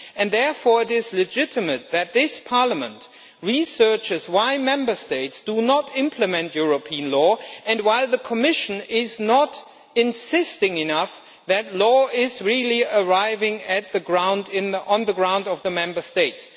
Therefore it is legitimate that this Parliament looks into why Member States do not implement European law and why the Commission is not insisting enough that law is really arriving on the ground of the Member States.